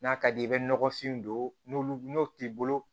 N'a ka d'i ye i bɛ nɔgɔfin don n'o n'o t'i bolo